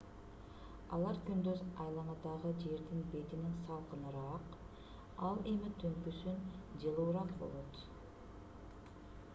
алар күндүз айланадагы жердин бетинен салкыныраак ал эми түнкүсүн жылуураак болот